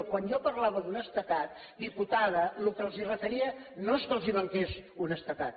quan jo parlava d’honestedat diputada el que els referia no és que els manqués honestedat